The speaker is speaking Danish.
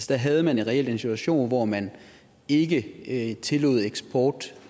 der havde man reelt den situation hvor man ikke ikke tillod eksport